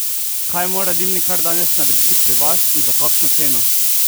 Kaj mora dimnikar danes narediti pri vas in za kakšno ceno?